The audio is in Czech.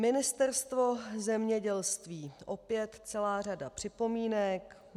Ministerstvo zemědělství - opět celá řada připomínek.